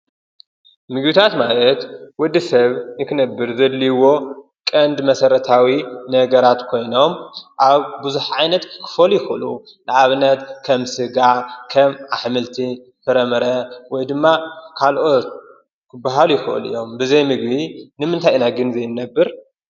ምግብታት ማለት ወዲ ሰብ ንክነብር ዘድልይዎ ቀንዲ መሰረታዊ ነገራት ኮይኖም ኣብ ብዙሕ ዓይነት ክኾኑ ይኽእሉ። ንኣብነት ከም ስጋ፣ ከም ኣሕምልቲ ፣ ፍረምረ ወይ ድማ ካልኦት ክባሃሉ ይኽእሉ እዮም፡፡ ብዘይምግቢ ንምንታይ ኢና ግን ዘይንነብር?